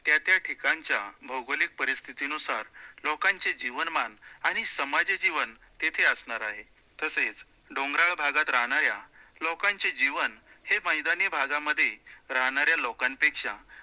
त्या त्या ठिकाणच्या भौगोलिक परिस्थितीनुसार लोकांचे जीवनमान आणि सामान्य जीवन तिथे असणार आहे, तसेच डोंगराळ भागात राहणाऱ्या लोकांचे जीवन हे मैदानी भागामध्ये राहणाऱ्या लोकांपेक्षा